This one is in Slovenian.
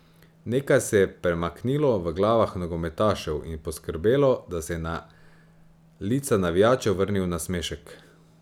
Nekaj se je premaknilo v glavah nogometašev in poskrbelo, da se je na lica navijačev vrnil nasmešek.